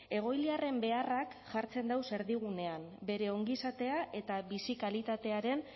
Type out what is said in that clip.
egoiliarren beharrak jartzen dagoz erdigunean bere ongizatea eta bizi kalitatearen